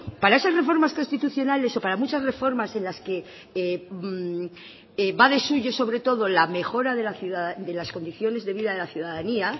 para esas reformas constitucionales o para muchas reformas en las que va de suyo sobre todo la mejora de las condiciones de vida de la ciudadanía